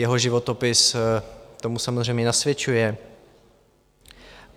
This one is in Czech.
Jeho životopis tomu samozřejmě nasvědčuje.